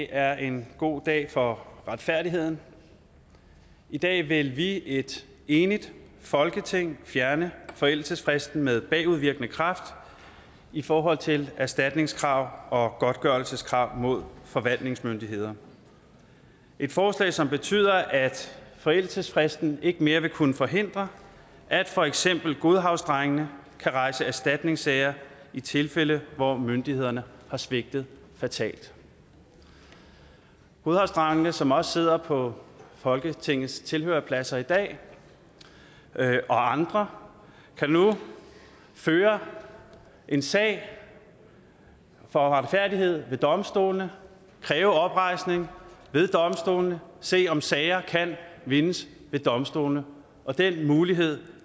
er en god dag for retfærdigheden i dag vil vi et enigt folketing fjerne forældelsesfristen med bagudvirkende kraft i forhold til erstatningskrav og godtgørelseskrav mod forvaltningsmyndigheder et forslag som betyder at forældelsesfristen ikke mere vil kunne forhindre at for eksempel godhavnsdrengene kan rejse erstatningssager i tilfælde hvor myndighederne har svigtet fatalt godhavnsdrengene som også sidder på folketingets tilhørerpladser i dag og andre kan nu føre en sag for retfærdighed ved domstolene kræve oprejsning ved domstolene se om sager kan vindes ved domstolene og den mulighed